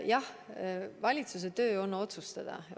Jah, valitsuse töö on otsustada.